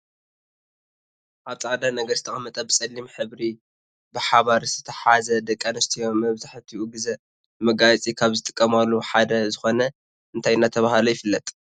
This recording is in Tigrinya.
ኣብ ፃዕዳ ነገር ዝተቀመጠ ብፀሊም ሕብሪ ብሓባር ዝተትሓዘ ደቂ ኣንስትዮ መብዛሕቲኡ ግዜ ንመጋየፂ ካብ ዝጥቀማሉ ሓደ ዝኮነ እንታይ እናተባህለ ይፍለጥ?